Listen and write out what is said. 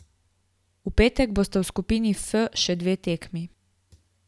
V petek bosta v skupini F še dve tekmi.